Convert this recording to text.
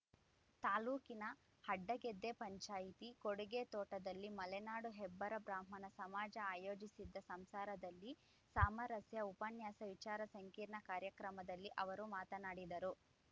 ತಾಲೂಕಿನ ಅಡ್ಡಗೆದ್ದೆ ಪಂಚಾಯಿತಿ ಕೊಡಿಗೆತೋಟದಲ್ಲಿ ಮಲೆನಾಡು ಹೆಬ್ಬಾರ ಬ್ರಾಹ್ಮಣ ಸಮಾಜ ಆಯೋಜಿಸಿದ್ದ ಸಂಸಾರದಲ್ಲಿ ಸಾಮರಸ್ಯ ಉಪನ್ಯಾಸ ವಿಚಾರ ಸಂಕಿರಣ ಕಾರ್ಯಕ್ರಮದಲ್ಲಿ ಅವರು ಮಾತನಾಡಿದರು